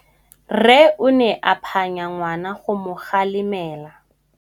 Rre o ne a phanya ngwana go mo galemela.